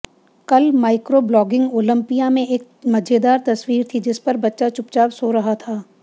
कल microblogging Olympia में एक मजेदार तस्वीर थी जिस पर बच्चा चुपचाप सो रहा था